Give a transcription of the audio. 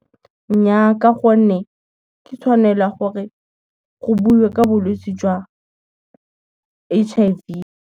Nnyaa ka gonne, ke tshwanelo ya gore go buiwe ke bolwetse jwa, H_I_V.